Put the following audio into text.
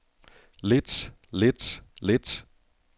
lidt lidt lidt